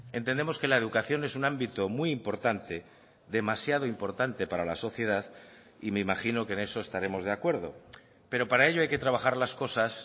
entendemos que la educación es un ámbito muy importante demasiado importante para la sociedad y me imagino que en eso estaremos de acuerdo pero para ello hay que trabajar las cosas